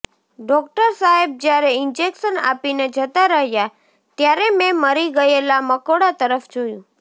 doctor સાહેબ જ્યારે injection આપીને જતા રહ્યા ત્યારે મેં મરી ગયેલા મકોડા તરફ જોયું